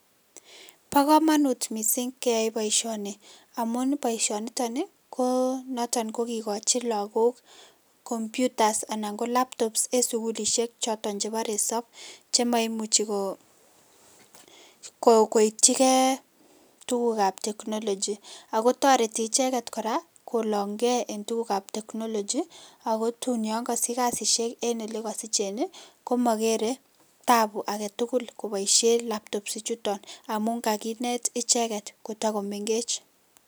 Bo komonut mising keyay boisioni amun boisioniton Ii ko naton ko kikochi Lagok computers anan ko laptops enn sugulisiek joton chebo resob che moimuchi Koo koityi Kee tuguk ab technology ako toreti icheket kora kolong Kee enn tuguk ab technology ako tun yan kakosich kasisiek enn ole kosichen ii komakere taabu ake tukul koboisien laptops ichuton amun kakinet icheket kotakomengech.